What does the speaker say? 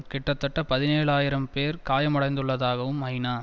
கிட்டத்தட்ட பதினேழு ஆயிரம் பேர் காயமடைந்துள்ளதாகவும் ஐநா